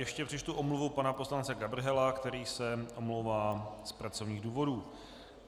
Ještě přečtu omluvu pana poslance Gabrhela, který se omlouvá z pracovních důvodů.